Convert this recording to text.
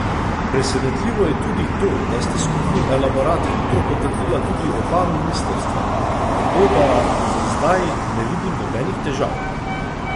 Presenetljivo je tudi to, da sta skupni elaborat hitro potrdila tudi oba ministrstva, tako da za zdaj ne vidim nobenih težav.